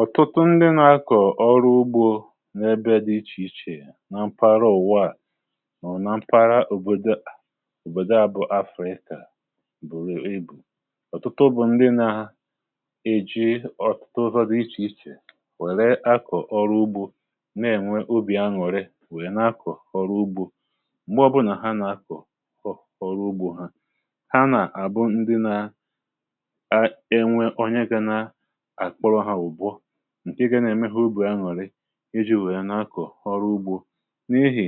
ọ̀tụtụ ndi na-akọ̀ ọrụ ugbȯ n’ebe dị ichèichè na mpara ụ̀wa à nọ̀ na mpara òbòdò a bụ̀ afrịka bùrù ibù ọ̀tụtụ bụ̀ ndi na-eji ọ̀tụtụ ụzọ dị ichèichè wère akọ̀ ọrụ ugbȯ um na-ènwe obì aṅụ̀rị wèe na-akọ̀ ọrụ ugbȯ. m̀gbè ọbụnà ha nà-akọ̀ ọrụ ugbȯ ha ǹke gà-ème ha ugbua aṅụrị iji wèe n’akụ̀ ọrụ ugbȯ n’ihì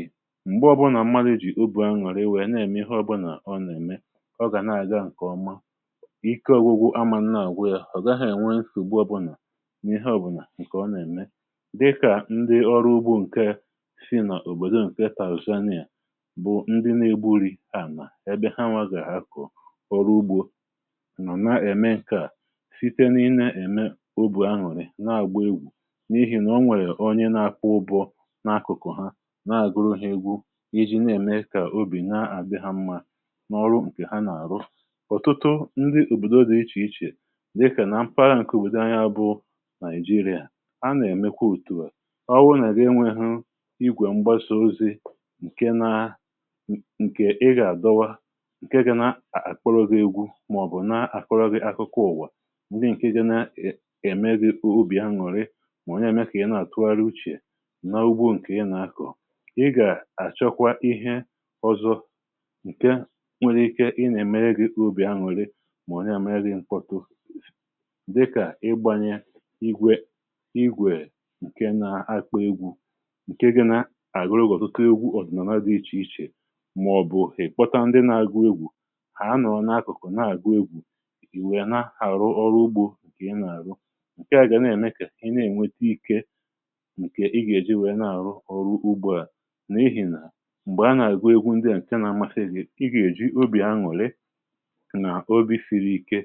m̀gbe ọbụnà mmadụ̀ jì ugbȯ aṅụrị iwė na-ème ihe ọbụnà ọ nà-ème ọ gà na-àga ǹkè ọma, ike ọgwụgwụ amȧ nna àgwụ ya ọ̀ gaghị̇ ènwe nsògbu ọbụnà n’ihe ọbụnà ǹkè ọ nà-ème. dịkà ndị ọrụ ugbȯ ǹke si n’òbòdò ǹkè taàzụsanị yȧ bụ ndị na-egbu urì ànà ebe ha nwazìa akụ̀ ọrụ ugbȯ n’ihì nà o nwèrè onye na-akwụ ụbọ̀ n’akụ̀kụ̀ ha na-àgụrụ̇ ihe egwu iji na-ème ịkà ubì na-àbe ha mmȧ n’ọrụ ǹkè ha nà-àrụ. ọ̀tụtụ ndị ùbòdo dị ichè ichè dịkà na mpaha ǹkè ùbòdò anya bụ nàịjirịà um a nà-èmekwa ùtùwà ọ wụ nà-èri enwėhụ igwè mgbasa ozi ǹke na ǹkè ị gà-àdọwa ǹke gị nà-àkpọrọ̇gụ̇ egwu màọ̀bụ̀ na-àkọrọ̇gụ̇ akụkụ ùwà. mà onye ème kà yà na-àtụgharị uchè n’ugbo ǹkè i na-akọ̀ i gà-àchọkwa ihe ọzọ ǹke nwere ike i nà-èmere gị obì aṅụrị, mà onye à me dị mkpọtụ dịkà igbȧnyė igwè igwè ǹke nȧ-akọ̀ egwu ǹke gị nà-àgụrụ gị̀ ọ̀tụtụ egwu ọ̀dị̀nọ̀la dị ichè ichè um màọ̀bụ̀ ị̀kpọta ndị na-àgụ egwu̇ hà a nọọ̀ n’akụ̀kụ̀ na-àgụ egwu̇. ihe a gà na-èmekà i na-ènwete ikė ǹkè i gà-èji wèe na-àrụ ọrụ ugbȯ à n’ihì nà m̀gbè a nà-àgwu egwu ndị à ǹkè nȧ-amasi ihė i gà-èji obì aṅụ̀lị nà obi̇firi ike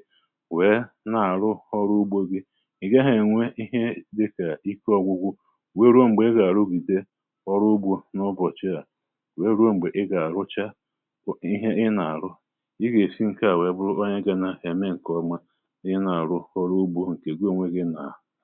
wèe na-àrụ ọrụ ugbȯ gi ị̀ gaghị̇ ènwe ihe dịkà ike ọ̀gwụgwụ wėeruo m̀gbè ị gà-àrụ ùgbìde ọrụ ugbȯ n’ụbọ̀chị à, wėeruo m̀gbè ị gà-àrụcha ihe ị nà-àrụ i gà-èsi ǹke à wèe bụ̀rụba anyị gȧ n’ahịa mee ǹkèọma ha ha.